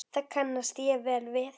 Það kannast ég vel við.